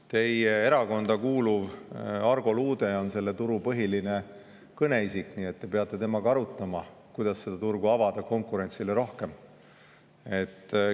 Teie erakonda kuuluv Argo Luude on selle turu põhiline kõneisik, nii et te peate temaga arutama, kuidas seda turgu konkurentsile rohkem avada.